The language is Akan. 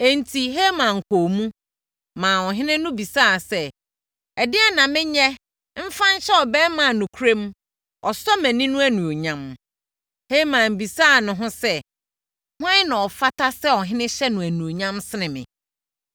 Enti, Haman kɔɔ mu, maa ɔhene no bisaa sɛ, “Ɛdeɛn na menyɛ mfa nhyɛ ɔbarima a nokorɛm, ɔsɔ mʼani no animuonyam?” Haman bisaa ne ho sɛ, “Hwan na ɔfata sɛ ɔhene hyɛ no animuonyam sene me?”